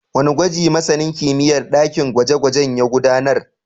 Wane gwaji masanin kimiyyar dakin gwaje-gwaje ya gudanar?